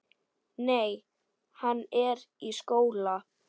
Nei, hann er í skóla.